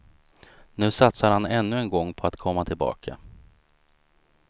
Nu satsar han ännu en gång på att komma tillbaka.